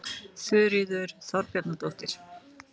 Þuríður Þorbjarnardóttir.